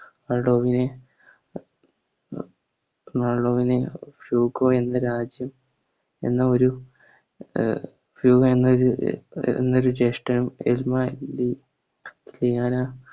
എന്ന രാജ്യം എന്നൊരു എന്ന ഒരു ഹ്യൂഗോ എന്നൊരു ജേഷ്ടൻ